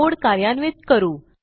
code कार्यान्वित करू